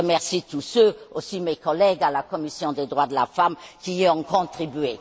Je remercie tous ceux, dont mes collègues de la commission des droits de la femme, qui y ont contribué.